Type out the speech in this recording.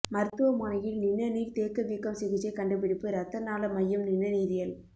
மருத்துவமனையில் நிணநீர் தேக்க வீக்கம் சிகிச்சை கண்டுபிடிப்பு இரத்த நாள மையம் நிணநீரியல்